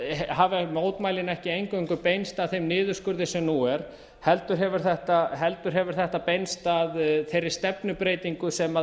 hafa mótmælin ekki eingöngu beinst að þeim niðurskurði sem nú heldur hefur þetta beinst að þeirri stefnubreytingu sem